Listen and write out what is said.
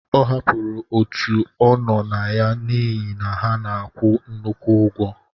Ọ hapụrụ òtù ọ nọ na ya n'ihi na ha na-akwụ nnukwu ụgwọ.